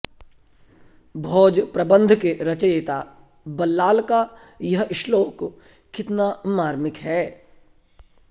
भोजप्रबन्ध के रचयिता बल्लाल का यह श्लोक कितना मार्मिक है